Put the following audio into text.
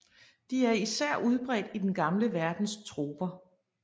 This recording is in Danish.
De er især udbredt i den gamle verdens troper